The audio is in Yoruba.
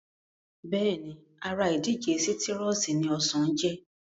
Bẹ́ẹ̀ni ara ìdílé sítírọ́ọ̀sì ni ọsàn jẹ́